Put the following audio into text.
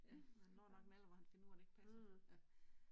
Ja, han når nok en alder hvor han finder ud af det ikke passer ja